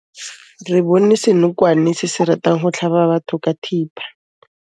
Re bone senokwane se se ratang go tlhaba batho ka thipa.